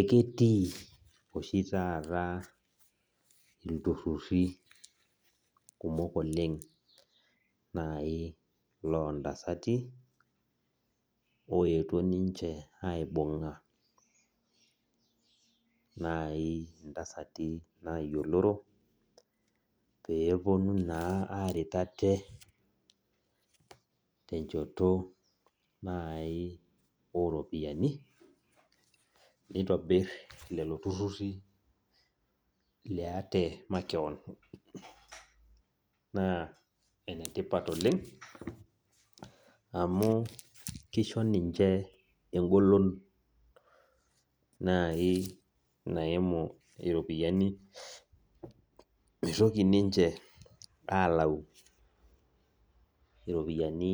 Eketii oshi taata lturururi kumok oleng lontasati oetuo ninchebaibunga ntasati nayioloro peponu aret ate techoto oropiyiani nitobir lolo tururi maate makeon na enetipat oleng amu kisho ninche engolon nai naimu iropiyiani mitoki ninche alau ropiyani